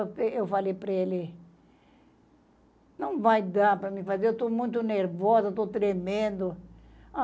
Aí eu falei para ele, não vai dar para me fazer, eu estou muito nervosa, eu estou tremendo.